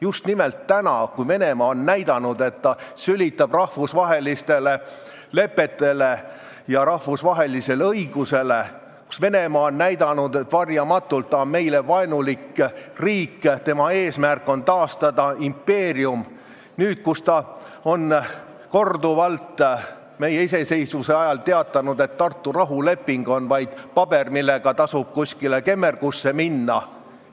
Just nimelt praegu, kui Venemaa on näidanud, et ta sülitab rahvusvahelistele lepetele ja rahvusvahelisele õigusele, kui Venemaa on näidanud, et ta on varjamatult meile vaenulik riik ja tema eesmärk on taastada impeerium ning ta on meie iseseisvuse ajal korduvalt teatanud, et Tartu rahuleping on vaid paber, millega tasub ainult kemmergusse minna.